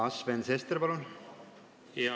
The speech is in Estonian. Aa, Sven Sester, palun!